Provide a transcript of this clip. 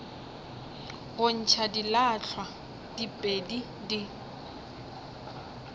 go ntšha dilahlwa diphedi di